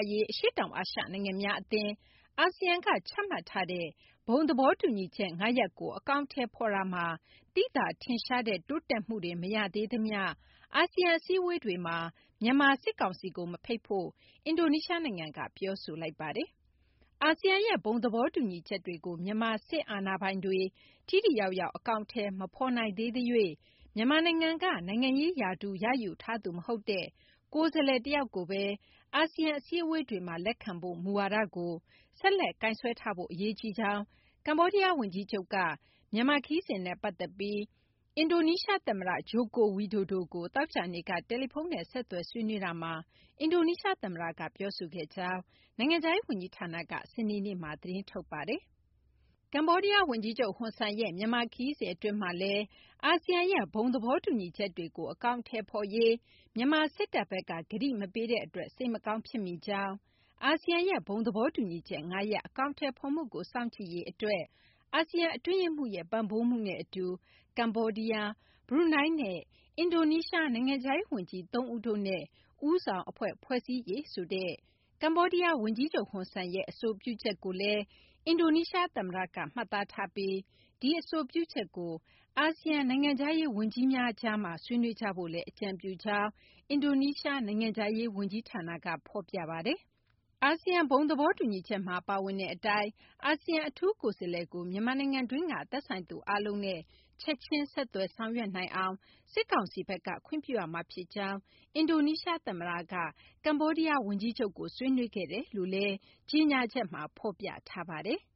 ရေး အရှေ့တောင်အာရှ နိုင်ငံများအသင်း (အာဆီယံ) က ချမှတ်ထားတဲ့ ဘုံသဘောတူညီချက် ၅ ရပ်ကို အကောင်အထည်ဖော်ရာမှာ သိသာထင်ရှားတဲ့ တိုးတက်မှုတွေ မရသေးသမျှ အာဆီယံ အစည်းအဝေးတွေမှာ မြန်မာစစ်ကောင်စီကို မဖိတ်ဖို့ အင်ဒိုနီးရှားနိုင်ငံက ပြောဆိုလိုက်ပါတယ်။ အာဆီယံရဲ့ ဘုံသဘောတူညီချက်တွေကို မြန်မာစစ်အာဏာပိုင်တွေ ထိထိရောက်ရောက် အကောင်အထည် မဖော်နိုင်သေးသရွေ့ မြန်မာနိုင်ငံက နိုင်ငံရေးရာထူး ရယူထားသူ မဟုတ်တဲ့ ကိုယ်စားလှယ်တယောက်ကိုသာ အာဆီယံ အစည်းအဝေးတွေမှာ လက်ခံဖို့ မူဝါဒကို ဆက်လက်ကိုင်စွဲထားဖို့ အရေးကြီးကြောင်း ကမ္ဘောဒီးယားဝန်ကြီးချုပ်က မြန်မာခရီးစဉ်နဲ့ ပတ်သက်ပြီး အင်ဒိုနီးရှားသမ္မတ ဂျိုကိုဝီဒိုဒိုကို သောကြာနေ့က တယ်လီဖုန်းနဲ့ ဆက်သွယ် ဆွေးနွေးရာမှာ အင်ဒိုနီးရှားသမ္မတက ပြောခဲ့ကြောင်း နိုင်ငံခြားရေးဝန်ကြီးဌာနက စနေနေ့မှာ သတင်းထုတ်ပြန်ခဲ့တာပါ။ ကမ္ဘောဒီးယားဝန်ကြီးချုပ် ဟွန်ဆန်ရဲ့ မြန်မာခရီးစဉ် အတွင်းမှာလည်း အာဆီယံရဲ့ ဘုံသဘောတူညီချက်တွေကို အကောင်အထည်ဖော်ရေး မြန်မာစစ်တပ်ဘက်က ကတိမပေးတဲ့အတွက် စိတ်မကောင်း ဖြစ်မိကြောင်း၊ အာဆီယံရဲ့ ဘုံသဘောတူညီချက် ၅ ရပ် အကောင်အထည်ဖော်မှုကို စောင့်ကြည့်ရေးအတွက် အာဆီယံ အတွင်းရေးမှူးရဲ့ ပံ့ပိုးမှုနဲ့အတူ ကမ္ဘောဒီးယား၊ ဘရူနိုင်းနဲ့ အင်ဒိုနီးရှား နိုင်ငံခြားရေးဝန်ကြီး ၃ ဦးတို့နဲ့ ဦးဆောင်အဖွဲ့ ဖွဲ့စည်းရေးဆိုတဲ့ ကမ္ဘောဒီးယားဝန်ကြီးချုပ် ဟွန်ဆန်ရဲ့ အဆိုပြုချက်ကိုလည်း အင်ဒိုနီးရှားသမ္မတက မှတ်သားထားပြီး ဒီအဆိုပြုချက်ကို အာဆီယံ နိုင်ငံခြားရေးဝန်ကြီးများကြားမှာ ဆွေးနွေးကြဖို့လည်း အကြံပြုကြောင်း အင်ဒိုနီးရှား နိုင်ငံခြားရေးဝန်ကြီးဌာနက ဖော်ပြပါတယ်။ အာဆီယံ ဘုံသဘောတူညီချက်မှာ ပါဝင်တဲ့အတိုင်း အာဆီယံ အထူးကိုယ်စားလှယ်ကို မြန်မာနိုင်ငံတွင်းက သက်ဆိုင်သူအားလုံးနဲ့ ချက်ချင်း ဆက်သွယ်ဆောင်ရွက်နိုင်အောင် စစ်ကောင်စီဘက်က ခွင့်ပြုရမှာဖြစ်ကြောင်း အင်ဒိုနီးရှားသမ္မတက ကမ္ဘောဒီးယားဝန်ကြီးချုပ်နဲ့ ဆွေးနွေးခဲ့တယ်လို့လည်း ကြေညာချက်မှာ ဖော်ပြထားပါတယ်။